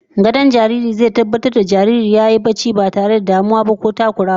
Gadon jariri zai tabbatar da cewa jariri yayi barcin ba tare da wani damuwa ko takurawa ba